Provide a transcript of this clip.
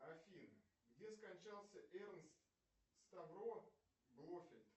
афина где скончался эрнст ставро блофельд